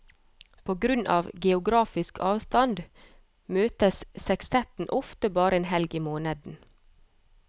På grunn av geografisk avstand møtes sekstetten ofte bare én helg i måneden.